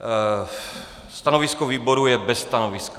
Stanovisko výboru je bez stanoviska.